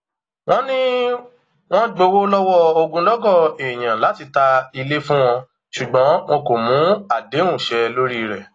wọn ní wọn gbowó lọwọ ogunlọgọ èèyàn láti ta ilé fún wọn ṣùgbọn wọn kò mú àdéhùn ṣẹ lórí rẹ